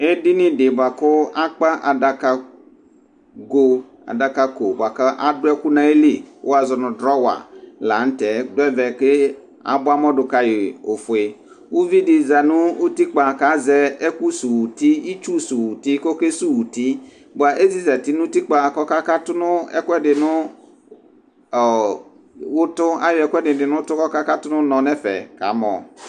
edini di bʋa ku akpa adaka go, adaka ko bʋa ku adu ɛku nu ayili ku wʋazɔ nu drɔwa la nu tɛ du ɛvɛ ke abʋamɔ du kayi ofue, uvi di za nu utikpa ku azɛ ɛku suwu uti, itsu suwu uti ku oke suwu uti bʋa eziza nu utikpa ku ɔka katu nu ɛkuɛdi nu ɔɔɔ ɛtu, ayɔ di du nu utu ku ɔka katu nu unɔ nu ɛfɛ kamɔ